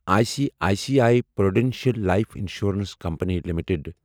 I C I C I prudential life insurance company limited